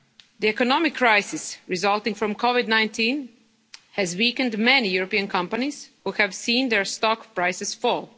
The economic crisis resulting from COVID-19 has weakened many European companies who have seen their stock prices fall.